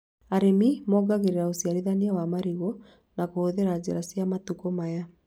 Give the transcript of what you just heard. Arĩmi mongagĩrĩra ũciarithania wa marigũ na kũhũthĩra njĩra cia matukũ maya